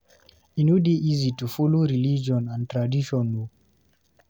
E no dey easy to dey follow religion and tradition o